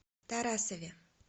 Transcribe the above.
тарасове